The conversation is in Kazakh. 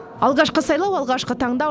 алғашқы сайлау алғашқы таңдау